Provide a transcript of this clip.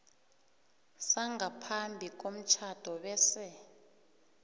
sangaphambi komtjhado bese